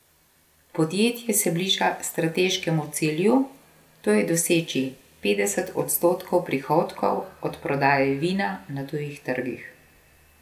Podjetje se bliža strateškemu cilju, to je doseči petdeset odstotkov prihodkov od prodaje vina na tujih trgih.